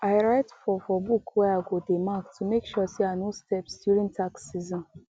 i write for for book where i go dey mark to make sure say i no steps during tax season